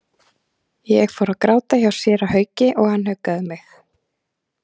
Ég fór að gráta hjá séra Hauki og hann huggaði mig.